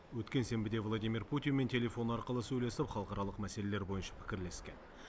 өткен сенбіде владимир путинмен телефон арқылы сөйлесіп халықаралық мәселелер бойынша пікірлескен